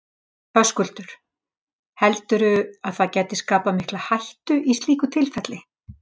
Höskuldur: Heldurðu að það gæti skapast mikil hætta í slíku tilfelli?